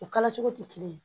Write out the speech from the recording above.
O kalacogo tɛ kelen ye